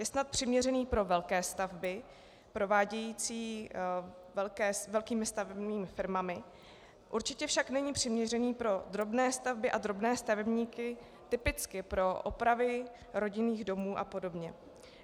Je snad přiměřený pro velké stavby prováděné velkými stavebními firmami, určitě však není přiměřený pro drobné stavby a drobné stavebníky, typicky pro opravy rodinných domů a podobně.